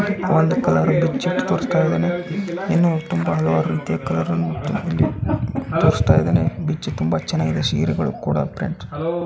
ಒಂದ್ ಕಲರ್ ಬಿಚ್ಚಿಟ್ಟ ತೋರಸ್ತಾಯಿದಾನೆ. ಇನ್ನು ತುಂಬಾ ಹಲವಾರು ರೀತಿಯಾ ಕಲರ್ ಅನ್ನು ಇಲ್ಲಿ ತೋರಸ್ತಾಯಿದ್ದಾನೆ. ಬಿಚ್ಚಿ ತುಂಬಾ ಚನ್ನಾಗ್ದೆ ಸೀರೆಗಳು ಕೂಡಾ ಪ್ರಿಂಟ್ --